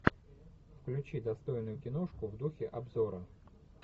включи достойную киношку в духе обзора